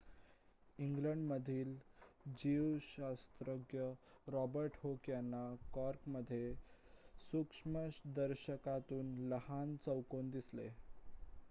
इंग्लंडमधील जीवशास्त्रज्ञ Robert Hooke यांना कॉर्कमध्ये सूक्ष्मदर्शकातून लहान चौकोन दिसले